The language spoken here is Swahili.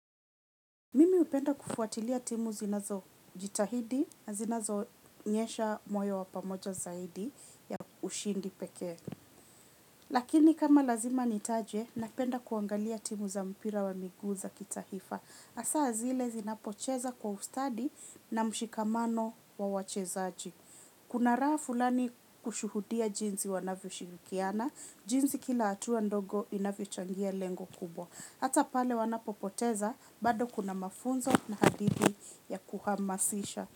Mimi hupenda kufuatilia timu zinazojitahidi, na zinazoonyesha moyo wa pamoja zaidi ya ushindi pekee. Lakini kama lazima nitaje, napenda kuangalia timu za mpira wa miguu za kitaifa. Hasa zile zinapocheza kwa ustadi na mshikamano wa wachezaji. Kuna raha fulani kushuhudia jinsi wanavyoshirikiana, jinsi kila hatua ndogo inavyochangia lengo kubwa. Hata pale wanapopoteza bado kuna mafunzo na hadithi ya kuhamasisha.